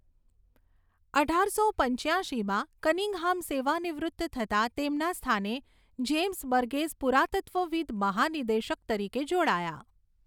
અઢારસો પંચ્યાશીમાં કનિંઘહામ સેવાનિવૃત્ત થતાં તેમના સ્થાને જેમ્સ બર્ગેસ પુરાતત્ત્વવિદ મહાનિદેશક તરીકે જોડાયા.